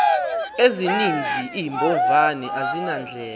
ezininzi iimbovane azinandlela